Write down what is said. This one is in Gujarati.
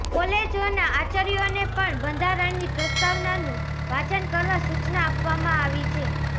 કોલેજોના આચાર્યોને પણ બંધારણની પ્રસ્તાવનાનું વાંચન કરવા સૂચના આપવામાં આવી છે